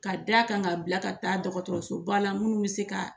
Ka da kan ka bila ka taa dɔgɔtɔrɔso ba la munnu be se ka